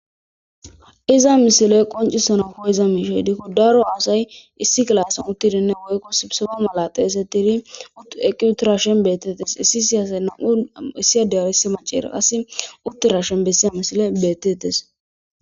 Iza misiley qoncisana ko7iza miishey diko daro aasay issi gilasan uttidinne woykko sibisofo malateesetidi ueqqi uttirashen beettettes issi siyasay nam7u issi adeyaisi maceera asi utterashen bessiya misile bettetes.